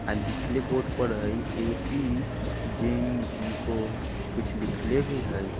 अ लिखले बोर्ड पर हई ए.पी. जिनको कुछ लिखले भी हई।